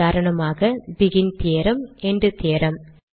உதாரணமாக begin theorem and theorem